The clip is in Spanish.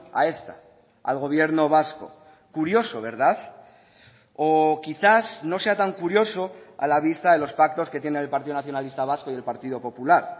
a esta al gobierno vasco curioso verdad o quizás no sea tan curioso a la vista de los pactos que tienen el partido nacionalista vasco y el partido popular